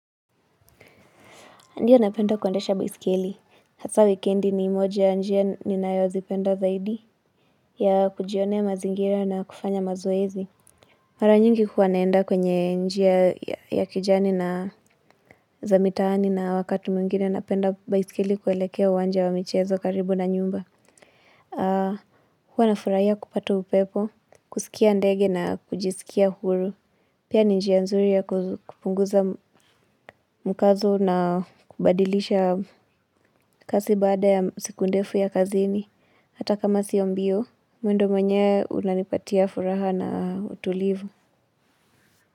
Ndiyo napenda kuendesha baiskeli. Hasaa wikendi ni moja ya njia ninayozipenda zaidi ya kujionea mazingira na kufanya mazoezi. Mara nyingi huwa naenda kwenye njia ya kijani na za mitaani na wakati mwingine napenda baiskeli kuelekea uwanja wa michezo karibu na nyumba. Huwaa nafuraia kupata upepo, kusikia ndege na kujisikia huru. Pia ni njia nzuri ya kupunguza mkazo na kubadilisha kasi baada ya siku ndefu ya kazini. Hata kama sio mbio, mwendo mwenyewe unanipatia furaha na utulivu.